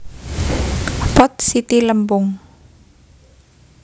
Pot siti lempung